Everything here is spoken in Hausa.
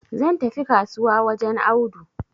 zan tafi kasuwa wajen Audu